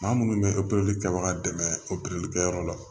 Maa minnu bɛ opereli kɛbaga dɛmɛ opereli kɛyɔrɔ la